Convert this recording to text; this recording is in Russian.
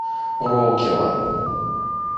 роукела